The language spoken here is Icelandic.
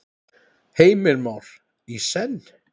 Heimir Már: Í senn?